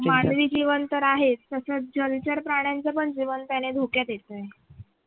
मानवी जीवन तर आहेच तसच जलचर प्राण्यांचं पण जीवन त्यानं धोक्यात येतंय.